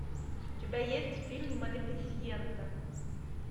у тебя есть фильм малефисента